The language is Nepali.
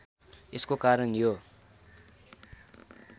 यसको कारण यो